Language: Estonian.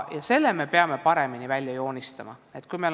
Selle me peame paremini välja joonistama.